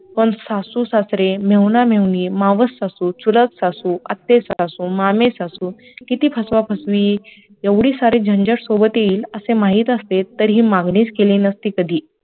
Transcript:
पण सासू सासरे, मेहुणा- मेहुणी, मावस सासू, चुलत सासू, आत्ये सासू, मामे सासू, किती फसवा फसवी तेवढी सारी झंझट सोबत येईल असे माहित असते तर हि मागणीच केली नसती कधी